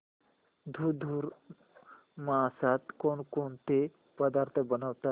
धुंधुर मासात कोणकोणते पदार्थ बनवतात